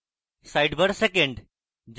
sidebar second